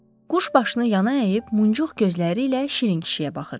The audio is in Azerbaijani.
Quş başını yana əyib muncuq gözləri ilə Şirin kişiyə baxırdı.